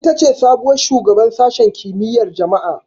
Ita ce sabuwar shugabar Sashen Kimiyyar Jama'a.